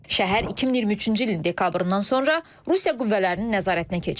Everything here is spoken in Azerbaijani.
Şəhər 2023-cü ilin dekabrından sonra Rusiya qüvvələrinin nəzarətinə keçib.